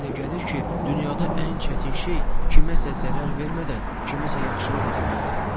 Mənə elə gəlir ki, dünyada ən çətin şey kiməsə zərər vermədən kiməsə yaxşılıq eləməkdir.